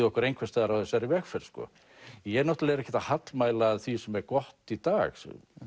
okkur einhvers staðar á þessari vegferð sko ég náttúrulega er ekkert að hallmæla því sem er gott í dag